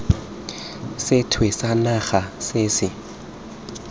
sethwe sa naga se se